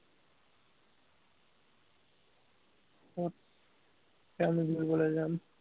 ক'ত, কেমেৰা ধৰিবলৈ যাম